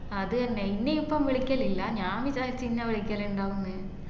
അതെന്നെ ഇന്ന ഇപ്പൊ വിളിക്കലില്ല ഞാൻ വിചാരിച്ചു ഇന്ന വിളിക്കലുണ്ടാവുംന്ന്